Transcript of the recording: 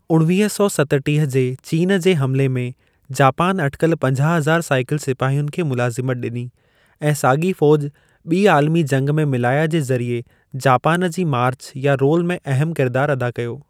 उणवीह सौ सतटीह जे चीन जे हमिले में, जापान अटिकल पंजाह हज़ार साइकिल सिपाहियनि खे मुलाज़िमत ॾिनी, ऐं साॻी फ़ौज ॿी आलमी जंग में मिलाया जे ज़रिए जापान जी मार्चु या रोल में अहमु किरिदारु अदा कयो।